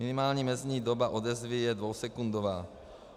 Minimální mezní doba odezvy je dvousekundová.